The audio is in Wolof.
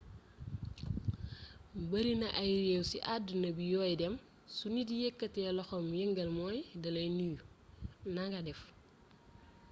barina ay réew ci àdduna bi yooy dem su nit yëkkatee loxoom yëngal mooy dalay nuyu nanga def